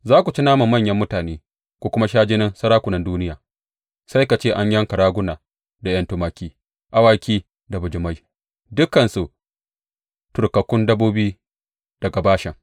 Za ku ci naman manyan mutane ku kuma sha jinin sarakunan duniya sai ka ce an yanka raguna da ’yan tumaki, awaki da bijimai, dukansu turkakkun dabbobi daga Bashan.